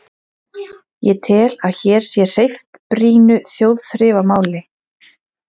Ég tel, að hér sé hreyft brýnu þjóðþrifamáli.